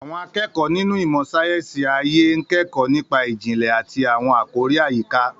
Àwọn akẹ́kọ̀ọ́ nínú ìmọ̀ sáyẹ́sì ayé ń kẹ́kọ̀ọ́ nípa ìjìnlẹ̀ àti àwọn àkòrí àyíká.